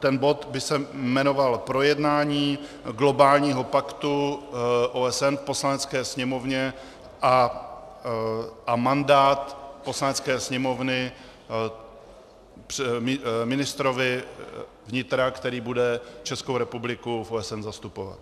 Ten bod by se jmenoval Projednání globálního paktu OSN v Poslanecké sněmovně a mandát Poslanecké sněmovny ministrovi vnitra, který bude Českou republiku v OSN zastupovat.